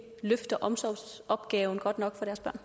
løfter omsorgsopgaven godt nok